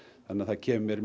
þannig það kemur mér